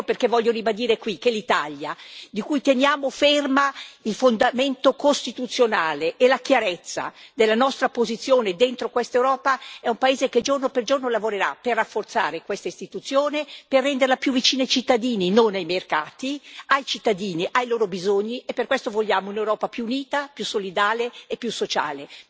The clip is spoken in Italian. Ecco perché voglio ribadire qui che l'Italia, di cui teniamo fermo il fondamento costituzionale e la chiarezza della nostra posizione dentro questa Europa, è un paese che giorno per giorno lavorerà per rafforzare questa istituzione, per renderla più vicina ai cittadini, non ai mercati, ai cittadini, ai loro bisogni, e per questo vogliamo un'Europa più unita, più solidale e più sociale.